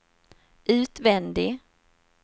utvändig